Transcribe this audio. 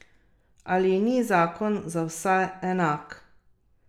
Ali ni zakon za vse enak?